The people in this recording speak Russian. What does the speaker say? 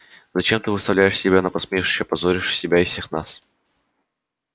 зачем ты выставляешь себя на посмешище позоришь и себя и всех нас